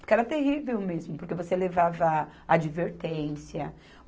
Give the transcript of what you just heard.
Porque era terrível mesmo, porque você levava advertência.